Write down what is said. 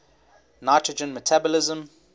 nitrogen metabolism